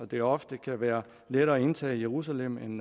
det ofte kan være lettere at indtage jerusalem end